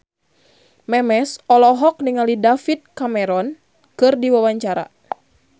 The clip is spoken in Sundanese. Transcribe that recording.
Memes olohok ningali David Cameron keur diwawancara